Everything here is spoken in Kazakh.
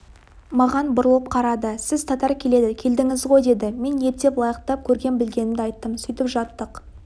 маған бұрылып қарады сіз татар келеді келдіңіз ғой деді мен ептеп лайықтап көрген-білгенімді айттым сөйтіп жаттық